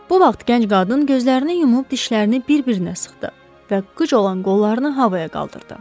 Bu vaxt gənc qadın gözlərini yumub dişlərini bir-birinə sıxdı və qıc olan qollarını havaya qaldırdı.